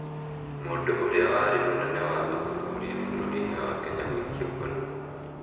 Mũndũ ũrĩa warĩ mũnene wa ũthuthuria bũrũri inĩ wa Kenya gũikio ngono